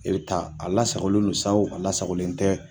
E bɛ taa a lasagolen don sa a lasagolen tɛ